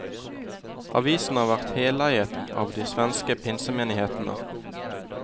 Avisen har vært heleiet av de svenske pinsemenighetene.